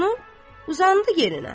uzandı yerinə.